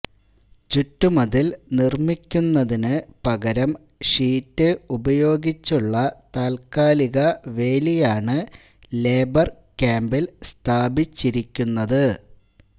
ചുറ്റുമതിൽ നിർമിക്കുന്നതിന് പകരം ഷീറ്റ് ഉപയോഗിച്ചുള്ള താത്കാലിക വേലിയാണ് ലേബർ ക്യാമ്പിൽ സ്ഥാപിച്ചിരിക്കുന്നത്